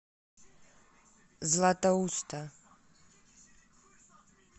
златоуста